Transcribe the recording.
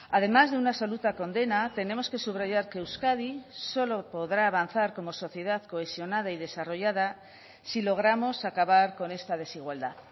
además de una absoluta condena tenemos que subrayar que euskadi solo podrá avanzar como sociedad cohesionada y desarrollada si logramos acabar con esta desigualdad